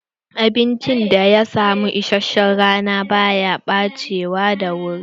Abincin da ya samu isashen rana ba ya ɓacewa da wuri.